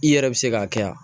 I yɛrɛ bi se k'a kɛ yan